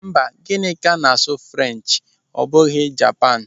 Mba, Gịnịka na-asụ French ọ bụghị Japan.